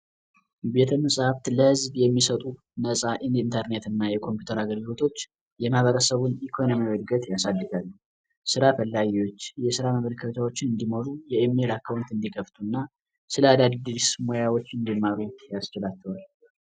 ቤተ መጻፍት ለህዝብ የሚሰጡ ነጻ የኢንተርኔት እና የኮምፒተር አገልግሎቶች የማህበረሰቡ ኢኮኖሚ ስራ ፈላጊዎች እንዲመሩ የሚል አካውንት እንዲከፍቱና